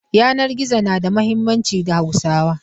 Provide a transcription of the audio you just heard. Yanan gizo na da muhimmanci ga Hauswa.